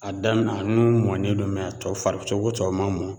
A damina a nun ŋun mɔnen don a tɔ fari cogo tɔw ma mɔ